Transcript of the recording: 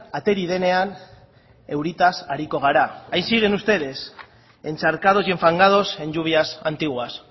ateri denean euritaz ariko gara ahí siguen ustedes encharcados y enfangados en lluvias antiguas